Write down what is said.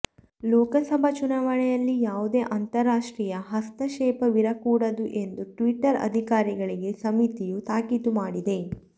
ಲೋಕಸಭಾ ಚುನಾವಣೆಯಲ್ಲಿ ಯಾವುದೇ ಅಂತರರಾಷ್ಟ್ರೀಯ ಹಸ್ತಕ್ಷೇಪವಿರಕೂಡದು ಎಂದು ಟ್ವಿಟರ್ ಅಧಿಕಾರಿಗಳಿಗೆ ಸಮಿತಿಯು ತಾಕೀತು ಮಾಡಿದೆ